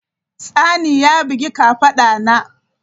Tsani ya bugi kafada na.